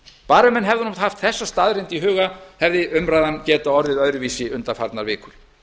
bara að menn hefðu haft þessa staðreynd í huga hefði umræðan getað orðið öðruvísi undanfarnar vikur